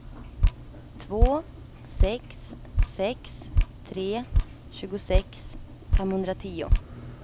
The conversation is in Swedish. två sex sex tre tjugosex femhundratio